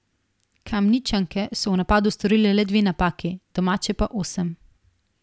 Kamničanke so v napadu storile le dve napaki, domače pa osem.